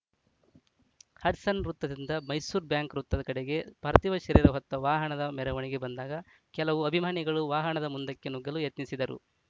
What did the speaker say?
Hudson ವೃತ್ತದಿಂದ Mysuru bank ವೃತ್ತ ಕಡೆಗೆ ಪಾರ್ಥಿವ ಶರೀರ ಹೊತ್ತ ವಾಹನದ ಮೆರವಣಿಗೆ ಬಂದಾಗ ಕೆಲವು ಅಭಿಮಾನಿಗಳು ವಾಹನದ ಮುಂದಕ್ಕೆ ನುಗ್ಗಲು ಯತ್ನಿಸಿದರು